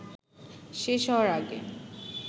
শেষ হওয়ার আগে